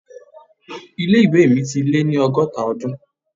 Ilé ìwé mi ti lé ní ọgọ́ta Ọdún.